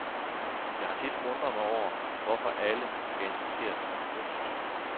Jeg har tit undret mig over, hvorfor alle skal interessere sig for kunst.